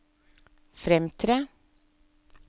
fremtre